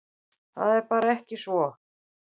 Það er bara ekki svo.